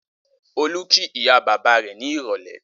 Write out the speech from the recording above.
Olú kí ìyá-bàbá rẹ̀ ní ìrọ́lẹ́?